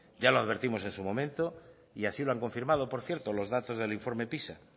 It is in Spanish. ya lo advertimos en su momento y así lo han confirmado por cierto los datos del informe pisa